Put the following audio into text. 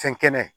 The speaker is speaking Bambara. Fɛn kɛnɛ